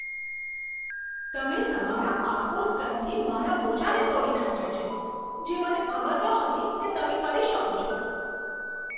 તમે તમારા પાર્કોર સ્ટંટથી મારા મોજાને તોડી નાખ્યા છે, જે મને ખબર નહોતી કે તમે કરી શકો છો.